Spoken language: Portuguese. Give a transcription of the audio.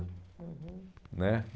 Uhum. Né